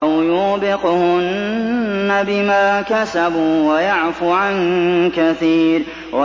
أَوْ يُوبِقْهُنَّ بِمَا كَسَبُوا وَيَعْفُ عَن كَثِيرٍ